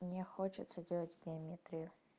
мне хочется делать геометрию